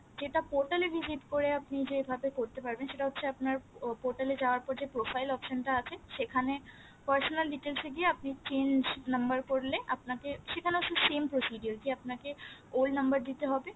যেটা portal এ visit করে আপনি যে ভাবে করতে পারবেন সেটা হচ্ছে আপনার portal এ যাওয়ার পর যে profile option টা আছে সেখানে personal details এ গিয়ে আপনি change number করলে আপনাকে সেখানে অবশ্য same procedure যে আপনাকে old নাম্বার দিতে হবে